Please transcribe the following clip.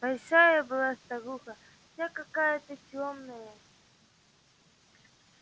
большая была старуха вся какая-то тёмная